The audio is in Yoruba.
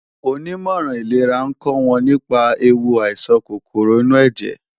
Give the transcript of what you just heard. Onímọ̀ràn ìlera ń kọ́ wọn nípa ewu àìsàn kòkòrò inú ẹ̀jẹ̀